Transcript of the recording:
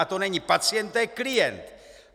A to není pacient, to je klient.